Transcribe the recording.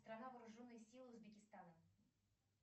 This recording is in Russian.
страна вооруженные силы узбекистана